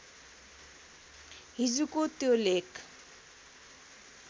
हिजोको त्यो लेख